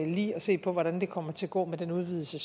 lige at se på hvordan det kommer til at gå med den udvidelse